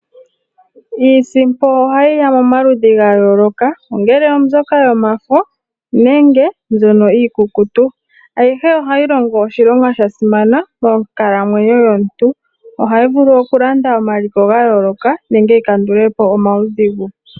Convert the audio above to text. Iisimpo ohayi ya momaludhi ga yooloka. Ongele oyomafo, nenge mbyono iikukutu. Ayihe ohayi longo oshilonga sha simana monkalamwenyo yomuntu. Ohayi vulu okulanda omaliko ga yooloka, nenge yi kandule po omaudhigu.